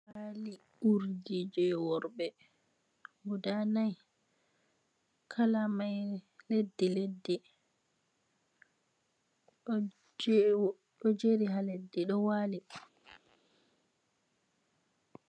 Paali urdi jei worɓe, guda nai. Kala mai leddi-leddi. Ɗo jeri, ɗo jeri ha leddi, ɗo waali.